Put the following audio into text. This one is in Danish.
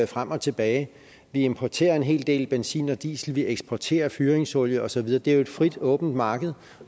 frem og tilbage vi importerer en hel del benzin og diesel og vi eksporterer fyringsolie og så videre det er jo et frit åbent marked